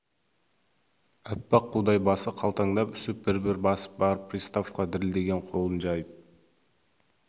аппақ қудай басы қалтаңдап үсіп бір-бір басып барып приставқа дірілдеген қолын жайып